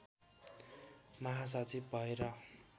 महासचिव भएर